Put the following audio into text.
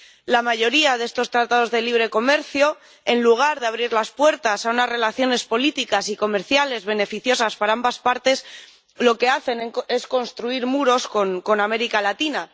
La mayoría de estos Tratados de Libre Comercio, en lugar de abrir las puertas a unas relaciones políticas y comerciales beneficiosas para ambas partes, lo que hacen es construir muros con América Latina.